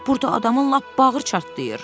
Burda adamın lap bağrı çartlayır.